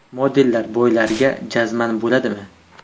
Modellar boylarga jazman bo‘ladimi?